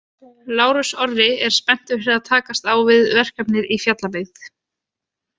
Lárus Orri er spenntur fyrir að takast á við verkefnið í Fjallabyggð.